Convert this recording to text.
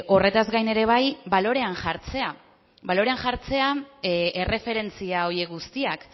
horretaz gain balorean jartzea erreferentzia horiek guztiak